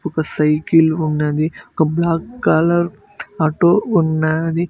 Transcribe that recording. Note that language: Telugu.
ఒక సైకిల్ ఉన్నది ఒక బ్లాక్ కలర్ ఆటో ఉన్నాది.